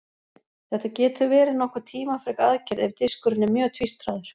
Þetta getur verið nokkuð tímafrek aðgerð ef diskurinn er mjög tvístraður.